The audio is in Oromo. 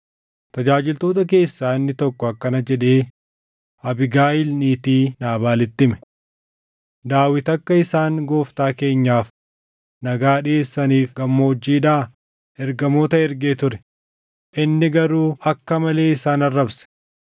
Tajaajiltoota keessaa inni tokko akkana jedhee Abiigayiil niitii Naabaalitti hime: “Daawit akka isaan gooftaa keenyaaf nagaa dhiʼeessaniif gammoojjiidhaa ergamoota ergee ture; inni garuu akka malee isaan arrabse.